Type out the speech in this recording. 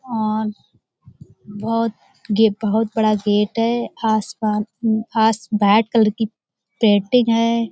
और बहुत गे बहुत बड़ा गेट है। आस-पास आस भाइट कलर की पेंटिंग है।